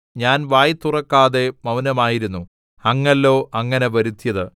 ഞാൻ വായ് തുറക്കാതെ മൗനമായിരുന്നു അങ്ങല്ലോ അങ്ങനെ വരുത്തിയത്